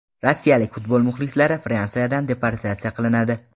Rossiyalik futbol muxlislari Fransiyadan deportatsiya qilinadi.